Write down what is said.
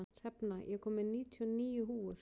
Hrefna, ég kom með níutíu og níu húfur!